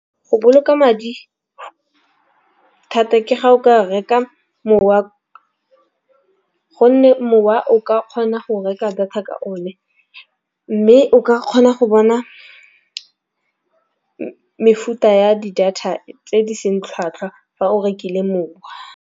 Go boloka madi thata ke ga o ka reka mowa gonne mowa o ka kgona go reka data ka o ne. Mme o ka kgona go bona mefuta ya di data tse di seng tlhwatlhwa fa o rekile mowa.